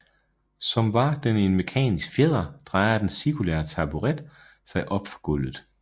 Som var den en mekanisk fjeder drejer den cirkulære taburet sig op fra gulvet